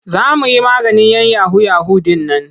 Za mu yi maganin 'yan yahu-yahu ɗin nan.